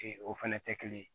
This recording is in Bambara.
Ee o fɛnɛ tɛ kelen ye